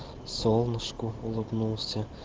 солнышку улыбнулся